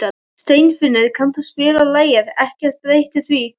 Steinfinnur, kanntu að spila lagið „Ekkert breytir því“?